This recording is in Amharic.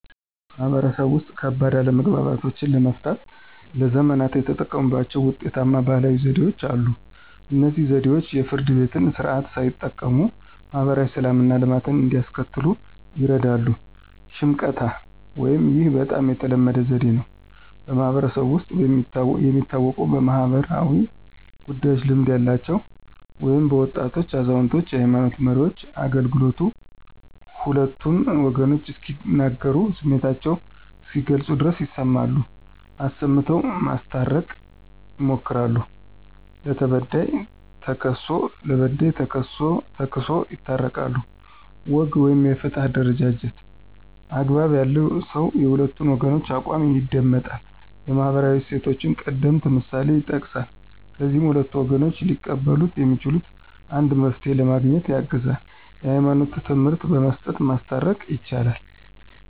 ማህበረሰቦች ውስጥ፣ ከባድ አለመግባባቶችን ለመፍታት ለዘመናት የተጠቀሙባቸው ውጤታማ ባህላዊ ዘዴዎች አሉ። እነዚህ ዘዴዎች የፍርድ ቤትን ስርዓት ሳይጠቀሙ ማህበራዊ ሰላምና ልማትን እንዲያስከትሉ ይርዳሉ። ሽምቀታ (፦ ይህ በጣም ተለመደው ዘዴ ነው። በማህበረሰቡ ውስጥ የሚታወቁና በማኅበራዊ ጉዳዮች ልምድ ያላቸው (በወጣቶች፣ አዛውንቶች፣ የሃይማኖት መሪዎች) አገልግሎቱ ሁለቱም ወገኖች እስኪናገሩና ስሜታቸውን እስኪገልጹ ድረስ ይሰማሉ፣ አሰምተው ማስታረቅ ማስታረቅ ይሞክራሉ። ለተበዳይ ተክስሶ ለበዳይ ተክሶ ይታረቃሉ። ወግ (የፍትህ አደረጃጀት)፦ )" አግባብነት ያለው ሰው የሁለቱን ወገኖች አቋም ይደመጣል፣ የማህበራዊ እሴቶችንና ቀደምት ምሳሌዎችን ይጠቅሳል፣ ከዚያም ሁለቱም ወገኖች ሊቀበሉት የሚችሉትን አንድ መፍትሄ ለማግኘት ያግዛል። የህይማኖት ትምህርት በመስጠት ማስታረቅ። ይቻላል